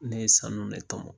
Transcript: Ne ye sanu ne tɔmɔ.